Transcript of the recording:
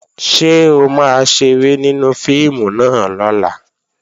Ṣé o máa ṣeré nínú fíìmù náà lọ́la?